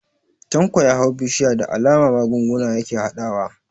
Tanko ya hau bishiyar, da alama magunguna yake harhaɗawa.